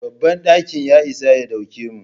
Babban ɗakin ya isa ya dauke mu.